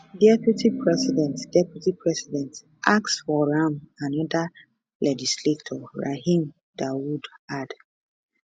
[deputy president] [deputy president] ask for am anoda legislator rahim dawood add